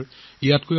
মোৰ প্ৰিয় দেশবাসী